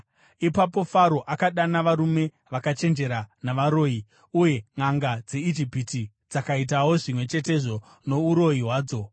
Ipapo Faro akadana varume vakachenjera navaroyi, uye nʼanga dzeIjipiti dzakaitawo zvimwe chetezvo nouroyi hwadzo.